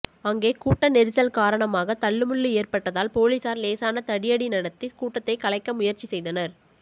அங்கே கூட்ட நெரிசல் காரணமாக தள்ளுமுள்ளு ஏற்பட்டதால் போலீசார் லேசான தடியடி நடத்தி கூட்டத்தை கலைக்க முயற்சி செய்தனர்